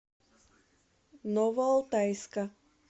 новоалтайска